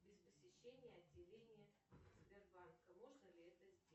без посещения отделения сбербанка можно ли это сделать